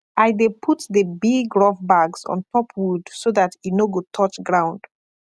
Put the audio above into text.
i dey put the big rough bags ontop wood so that e no go touch ground